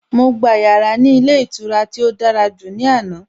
Mo gba yàrá ní ilé ìtura tí ó dára jù ní àná.